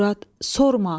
Murad, sorma.